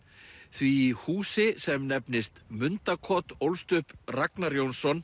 því í húsi sem nefnist ólst upp Ragnar Jónsson